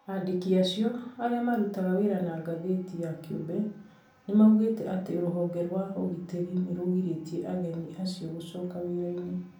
Andĩki acio, arĩa marutaga wĩra na Ngathiti ya kĩumbe, nĩmaugĩte atĩ rũhonge rwa ugĩtĩri nĩrũrĩhtĩe aregani acio gũcoka wira-inĩ